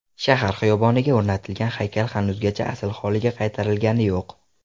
Shahar xiyoboniga o‘rnatilgan haykal hanuzgacha asl holiga qaytarilgani yo‘q.